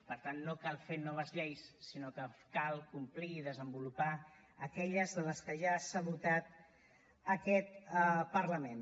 per tant no cal fer noves lleis sinó que cal complir i desenvolupar aquelles de les que ja s’ha dotat aquest parlament